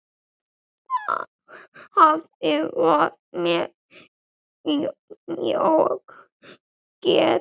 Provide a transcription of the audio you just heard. Afi var mér mjög kær.